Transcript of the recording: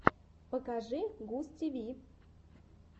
покажи густиви